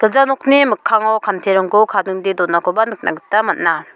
gilja nokni mikkango kantirongko kadingdee donakoba nikna gita man·a.